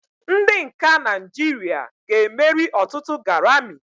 Ndị nka Naijiria ga-emeri ọtụtụ Garami.